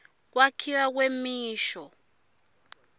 kwakhiwa kwemisho